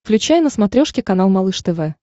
включай на смотрешке канал малыш тв